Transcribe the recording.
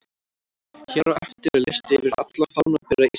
Hér á eftir er listi yfir alla fánabera Íslands: